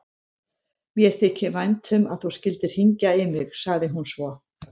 Mér þykir vænt um að þú skyldir hringja í mig, sagði hún svo.